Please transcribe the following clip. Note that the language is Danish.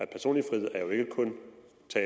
personlige frihed er jo ikke kun